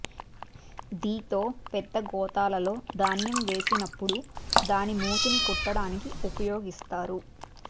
దీతో పెద్ద గోతాలలొ ధాన్యం వేసి నపుడు దాని మూతిని కుట్టడానికి వుపయోగిస్తారు